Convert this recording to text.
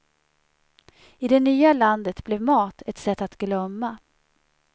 I det nya landet blev mat ett sätt att glömma.